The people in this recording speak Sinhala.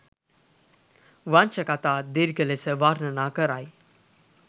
වංශකතා දීර්ඝ ලෙස වර්ණනා කරයි.